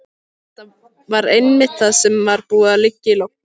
Þetta var einmitt það sem var búið að liggja í loftinu.